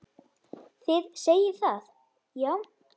Þið segið það, já.